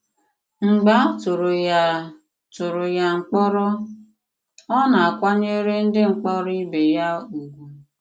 Mgbe a tụrụ ya tụrụ ya mkpòrọ, ọ na-àkwànyèrè ndị mkpòrọ ìbè ya ùgwù.